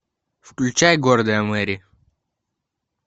включай гордая мэри